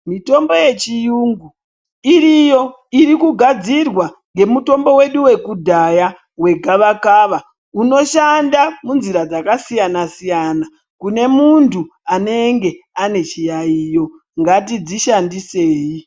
Mitombo yechiyungu iriyo iriku gadzirwa nge mutombo wedu weku dhaya we gava kava unoshanda mu nzira dzaka siyana siyana kune muntu anenge ane chiyayiyo ngatidzi shandisei.